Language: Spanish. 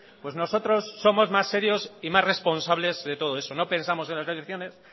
pues nosotros somos más serios y más responsables que todo eso no pensamos en las elecciones